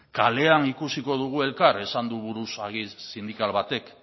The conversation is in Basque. kalean ikusiko dugu elkar esan du buruzagi sindikal batek